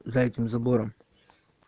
за этим забором